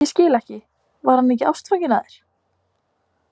Ég skil ekki, var hann ekki ástfanginn af þér?